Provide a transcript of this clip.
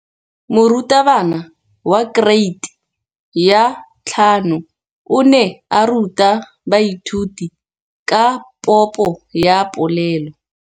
Moratabana wa kereiti ya 5 o ne a ruta baithuti ka popô ya polelô.